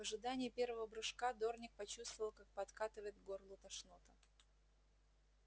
в ожидании первого прыжка дорник почувствовал как подкатывает к горлу тошнота